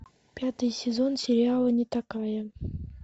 пятый сезон сериала нетакая